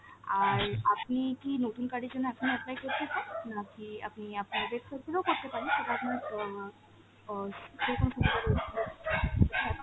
আর আপনি কি নতুন card এর জন্য এখন apply করতে চান? নাকি আপনি আপনার website থেকেও করতে পারেন, সেটা আপনার অ অ ।